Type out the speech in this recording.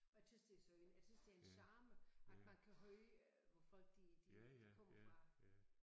Og jeg tys det er synd jeg synes det er en charme at man kan høre hvor folk de de de kommer fra